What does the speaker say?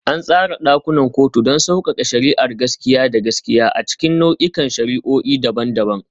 An tsara ɗakunan kotuna don sauƙaƙe shari'ar gaskiya da gaskiya a cikin nau'ikan shari'o'i daban-daban.